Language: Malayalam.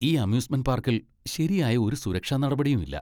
ഈ അമ്യൂസ്മെന്റ് പാർക്കിൽ ശരിയായ ഒരു സുരക്ഷാ നടപടിയും ഇല്ല.